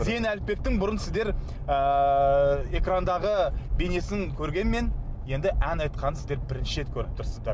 зейін аліпбектің бұрын сіздер ыыы экрандағы бейнесін көргенмен енді ән айтқанын сіздер бірінші рет көріп тұрсыздар